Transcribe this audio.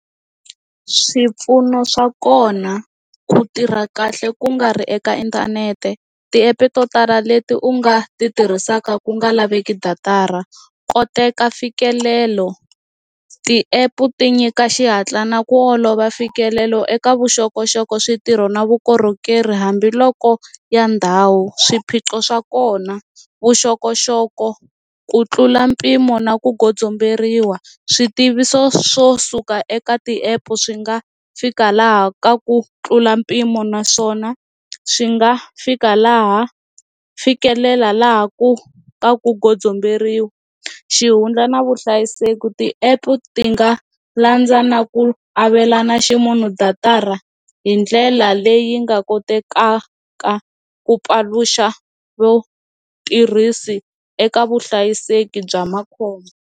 swipfuno swa kona ku tirha kahle ku nga ri eka inthanete tiepe to tala leti u nga ti tirhisaka ku nga laveki datara koteka mfikelelo ti app ti nyika xihatla na ku olova mfikelelo eka vuxokoxoko switirho na vukorhokeri hambiloko ya ndhawu swiphiqo swa kona vuxokoxoko ku tlula mpimo na ku komberiwa swi tiviso swo suka eka ti-app swi nga fika laha ka ku tlula mpimo naswona swi nga fika laha fikelela laha ku ka ku komberiwa xihundla na vuhlayiseki, ti-app ti nga landza na ku avelana ximunhu datara hi ndlela leyi nga kotekaka ku paluxa vatirhisi eka vuhlayiseki bya makhombo